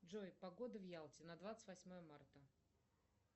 джой погода в ялте на двадцать восьмое марта